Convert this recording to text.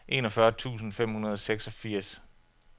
enogfyrre tusind fem hundrede og seksogfirs